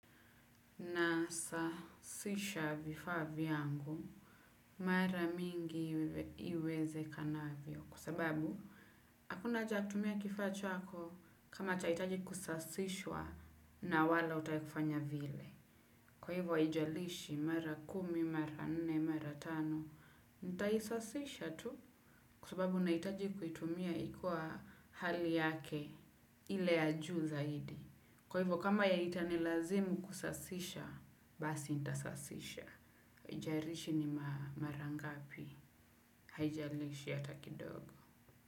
Nasaasisha vifaa vyangu mara mingi iwezekanavyo kwa sababu hakuna haja ya kutumia kifaa chako kama chahitaji kusaasishwa na wala hutaki kufanya vile. Kwa hivyo, haijalishi mara kumi, mara nne, mara tano. Nitaisasisha tu kwa sababu nahitaji kuitumia ikiwa hali yake ile ya juu zaidi. Kwa hivyo, kama ya itanilazimu kusasisha, basi nintasasisha. Haijalishi ni mara ngapi haijalishi hata kidogo.